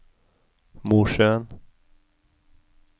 Mosjøen